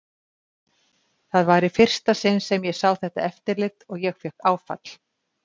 Það var í fyrsta sinn sem ég sá þetta eftirlit og ég fékk áfall.